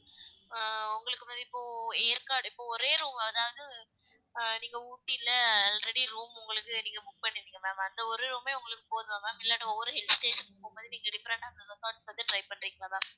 அஹ் உங்களுக்கு ma'am இப்போ ஏற்காடு இப்ப ஒரே room அதாவது அஹ் நீங்க ஊட்டில already room உங்களுக்கு நீங்க book பண்ணியிருந்தீங்க ma'am அந்த ஒரே room ஏ உங்களுக்கு போதுமா ma'am இல்லனா ஒவ்வொரு hill station போகும்போது நீங்க different ஆ அந்த resort வந்து try பண்றிங்களா ma'am